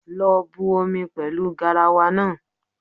Lọ bu omi pẹlu garawa naa